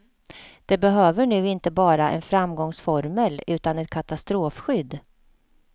Det behöver nu inte bara en framgångsformel utan ett katastrofskydd.